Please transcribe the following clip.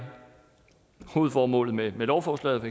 hovedformålet med lovforslaget